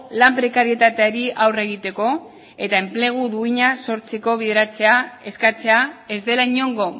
lan prekarietateari aurre egiteko eta enplegu duina sortzeko bideratzea eskatzea ez dela inongo